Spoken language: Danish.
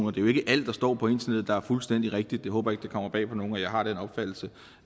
er jo ikke alt der står på internettet der er fuldstændig rigtigt jeg håber ikke det kommer bag på nogen at jeg har den opfattelse